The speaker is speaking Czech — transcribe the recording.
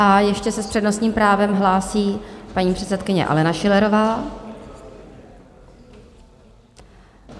A ještě se s přednostním právem hlásí paní předsedkyně Alena Schillerová.